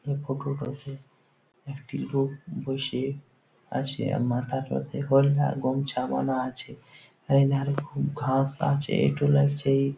এই ফটো - টোতে একটি লোক বইসে আছে আর মাথাটোতে হলদা গমছা আছে এ ধারে খুব ঘাস আছেএইতো লাগছেই --